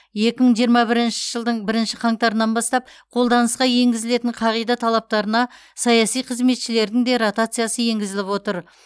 екі мың жиырма бірінші жылдың бірінші қаңтарынан бастап қолданысқа енгізілетін қағида талаптарына саяси қызметшілердің де ротациясы енгізіліп отыр